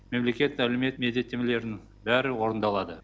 мемлекет әлеумет міндеттемелерінің бәрі орындалады